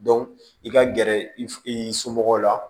i ka gɛrɛ i somɔgɔw la